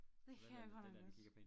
Det kan jeg godt nok også